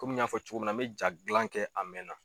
Komi n y'a fɔ cogo min na n bɛ jaa gilan kɛ a mɛn na.